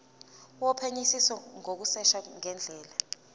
wophenyisiso ngokushesha ngendlela